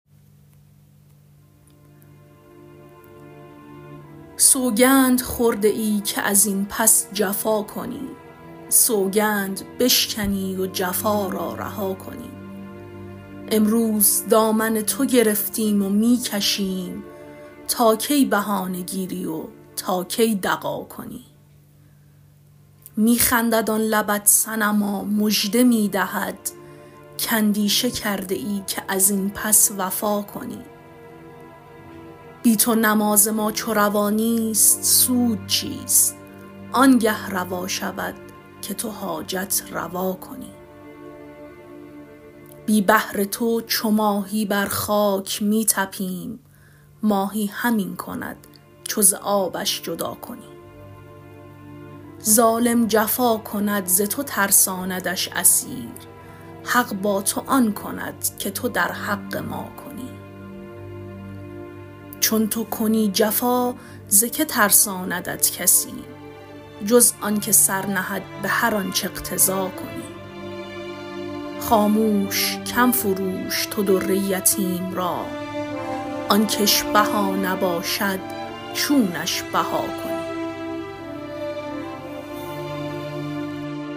سوگند خورده ای که از این پس جفا کنی سوگند بشکنی و جفا را رها کنی امروز دامن تو گرفتیم و می کشیم تا کی بهانه گیری و تا کی دغا کنی می خندد آن لبت صنما مژده می دهد کاندیشه کرده ای که از این پس وفا کنی بی تو نماز ما چو روا نیست سود چیست آنگه روا شود که تو حاجت روا کنی بی بحر تو چو ماهی بر خاک می طپیم ماهی همین کند چو ز آبش جدا کنی ظالم جفا کند ز تو ترساندش اسیر حق با تو آن کند که تو در حق ما کنی چون تو کنی جفا ز کی ترساندت کسی جز آنک سر نهد به هر آنچ اقتضا کنی خاموش کم فروش تو در یتیم را آن کش بها نباشد چونش بها کنی